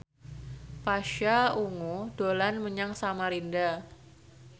Pasha Ungu dolan menyang Samarinda